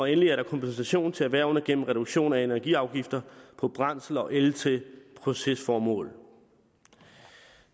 endelig er der kompensation til erhvervene gennem reduktion af energiafgifter på brændsel og el til procesformål